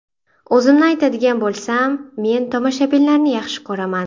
O‘zimni aytadigan bo‘lsam, men tomoshabinlarni yaxshi ko‘raman.